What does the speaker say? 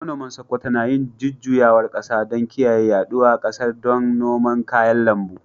Manoman Sokoto na yin jujjuyawar kasa don kiyaye yaɗuwa ƙasar don noman kayan lambu.